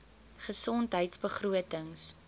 gesondheidbegrotings